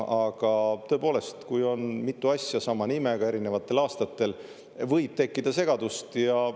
Aga tõepoolest, kui on mitu asja sama nimega erinevatel aastatel, siis võib tekkida segadust.